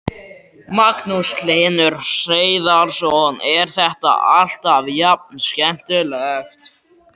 Magnús Hlynur Hreiðarsson: Er þetta alltaf jafn skemmtilegt?